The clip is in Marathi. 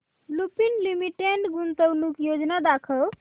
लुपिन लिमिटेड गुंतवणूक योजना दाखव